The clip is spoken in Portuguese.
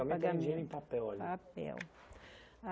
O pagamento era dinheiro em papel. Papel